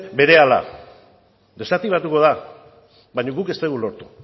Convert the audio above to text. berehala desaktibatuko da baina guk ez dugu lortu